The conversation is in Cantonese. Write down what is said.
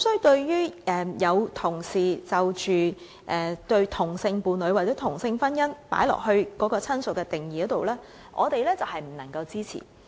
對於有同事把同性伴侶或同性婚姻人士加入"親屬"的定義中，我們不能夠支持。